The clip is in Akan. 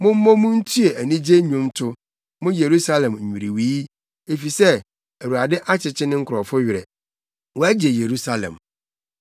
Mommɔ mu ntue anigye nnwonto, mo Yerusalem nnwiriwii, efisɛ, Awurade akyekye ne nkurɔfo werɛ wagye Yerusalem.